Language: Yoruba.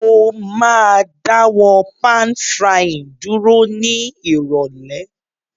Mo ma dáwó pan-frying dúró ni ìrọ̀lẹ́